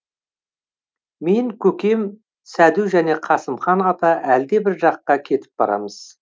мен көкем сәду жане қасымхан ата әлдебір жаққа кетіп барамыз